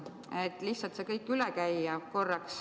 Võiks lihtsalt korra selle kõik üle käia.